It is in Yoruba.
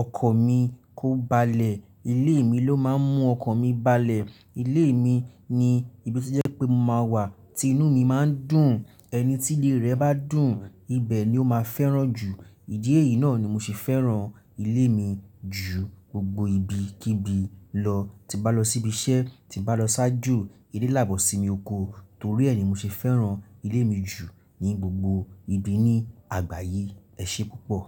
ọkàn mi kó balẹ̀. Ilé mi ló máa ń mú ọkọ̀ mi balẹ̀. Ilé mi ni ibi to jẹ́ pé mo máa wà tí inú mi má ń dùn. Ẹni tí ilé rẹ̀ bá dùn, ibẹ̀ ni ó máa fẹ́ràn jù. Ìdí èyí náà ni mo ṣe fẹ́ràn ilé mi jù gbogbo ibi kíbi lọ. Ti n bá lọ síbi iṣẹ́, ti n bá lọ sájo, ilé làá bọ́ sí mi oko, torí ẹ ni mo ṣe fẹ́ràn ilé mi jù ní gbogbo ibi ní àgbáyé. Ẹ ṣé púpọ̀.